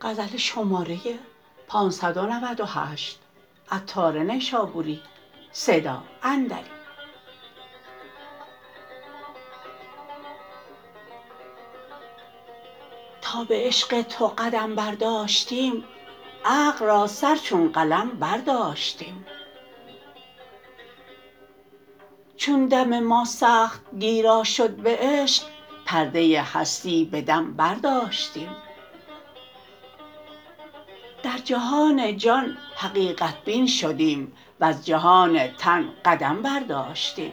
تا به عشق تو قدم برداشتیم عقل را سر چون قلم برداشتیم چون دم ما سخت گیرا شد به عشق پرده هستی به دم برداشتیم در جهان جان حقیقت بین شدیم وز جهان تن قدم برداشتیم